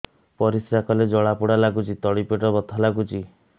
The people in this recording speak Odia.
ପରିଶ୍ରା କଲେ ଜଳା ପୋଡା ଲାଗୁଚି ତଳି ପେଟ ବଥା ଲାଗୁଛି